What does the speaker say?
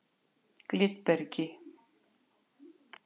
Glitbergi